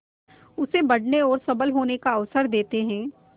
उसे बढ़ने और सबल होने का अवसर देते हैं